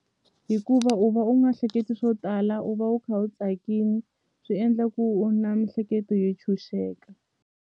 Hikuva u va u nga hleketi swo tala u va u kha u tsakini swi endla ku u na mihleketo yo tshunxeka.